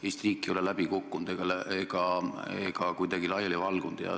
Eesti riik ei ole läbi kukkunud ega kuidagi laiali valgunud.